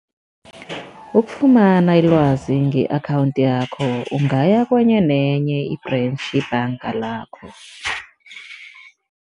Ukufumana ilwazi nge-akhawundi yakho, ungaya kwenye nenye i-branch yebhanga lakho.